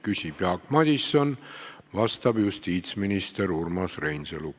Küsib Jaak Madison, vastab justiitsminister Urmas Reinsalu.